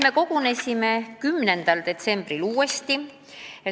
Me kogunesime 10. detsembril uuesti.